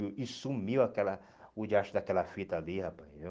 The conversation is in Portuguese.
E sumiu aquela o diacho daquela fita ali, rapaz,